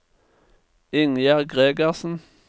Ingjerd Gregersen